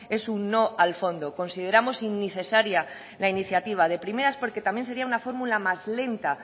es un no al fondo consideramos innecesaria la iniciativa de primeras porque también sería una fórmula más lenta